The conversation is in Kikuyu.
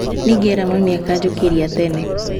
Nĩngera mami akanjũkĩria tene